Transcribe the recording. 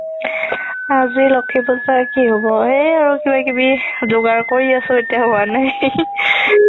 আজি লক্ষ্মী পুজাৰ কি হ'ব সেই আৰু কিবা কিবি জুগাৰ কৰি আছো এতিয়াও হুৱা নাই